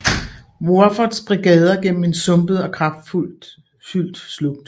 Woffords brigader gennem en sumpet og kratfyldt slugt